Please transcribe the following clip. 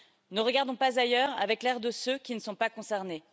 Ne regardons pas ailleurs, avec l'air de ceux qui ne sont pas concernés.